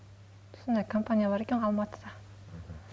сондай компания бар екен ғой алматыда